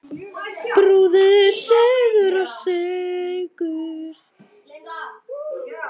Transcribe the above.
Brúður, söngur og sögur.